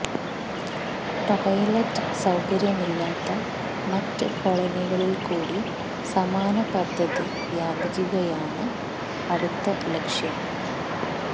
toilet സൌകര്യമില്ലാത്ത മറ്റ് കോളനികളില്കൂടി സമാന പദ്ധതി വ്യാപിപ്പിക്കുകയാണ് അടുത്ത ലക്ഷ്യം